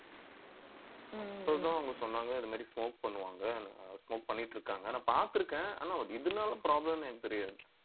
so அவங்க சொன்னாங்க இந்த மாதிரி smoke பண்ணுவாங்க. smoke பண்ணிட்டு இருக்காங்க. ஆனா பார்த்திருக்கேன். ஆனா அதுனால problem ன்னு எனக்கு தெரியாது